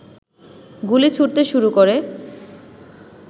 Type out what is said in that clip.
গুলি ছুঁড়তে শুরু করে